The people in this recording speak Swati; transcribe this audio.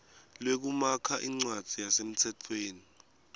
lwekumakha incwadzi yasemtsetfweni